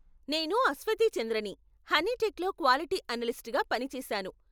నేను అశ్వతి చంద్రని, హనీటెక్లో క్వాలిటీ అనలిస్ట్గా పనిచేశాను.